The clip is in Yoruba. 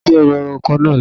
Ta ló jí Ẹrù èrò ọkọ̀ náà lọ.